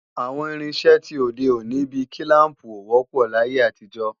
Àwọn irinṣẹ́ ti òde òní bí kílàmpù ò wọ́pọ̀ láyé àtijọ́